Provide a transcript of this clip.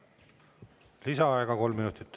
Lisaaega kolm minutit.